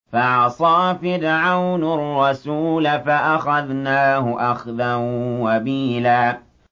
فَعَصَىٰ فِرْعَوْنُ الرَّسُولَ فَأَخَذْنَاهُ أَخْذًا وَبِيلًا